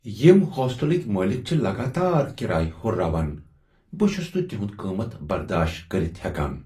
یم ہوسٹَلٕکۍ مٲلک چھ لگاتار کرایہ ہُرراوان، بہٕ چھس نہٕ تہند قیمت برداشت کٔرتھ ہیکان۔